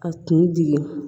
A kun digi